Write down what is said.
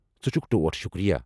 ژٕ چھکھ ٹوٹھ! شُکریہ!